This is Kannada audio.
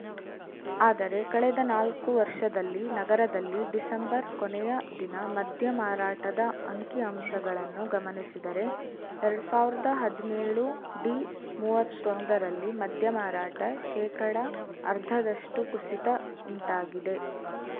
ಆದರೆ ಕಳೆದ ನಾಲ್ಕು ವರ್ಷದಲ್ಲಿ ನಗರದಲ್ಲಿ ಡಿಸೆಂಬರ್‌ ಕೊನೆಯ ದಿನ ಮದ್ಯ ಮಾರಾಟದ ಅಂಕಿ ಅಂಶಗಳನ್ನು ಗಮನಿಸಿದರೆ ಎರಡ್ ಸಾವಿರದ ಹದಿನೇಳು ಡಿಮೂವತ್ತೊಂದರಲ್ಲಿ ಮದ್ಯ ಮಾರಾಟ ಶೇಕಡಾ ಅರ್ಧದಷ್ಟುಕುಸಿತ ಉಂಟಾಗಿದೆ